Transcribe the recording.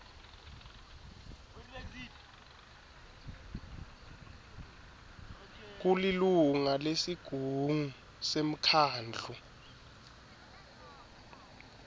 kulilunga lesigungu semkhandlu